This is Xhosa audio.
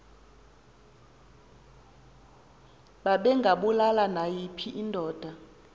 babengabulali nayiphi indoda